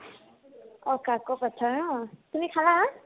অ কাকʼ পথাৰত ন? তুমি খালা?